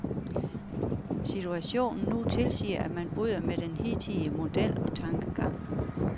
Situationen nu tilsiger, at man bryder med den hidtidige model og tankegang.